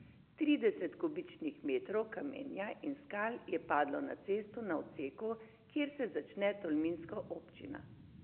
Trideset kubičnih metrov kamenja in skal je padlo na cesto na odseku, kjer se začne tolminska občina.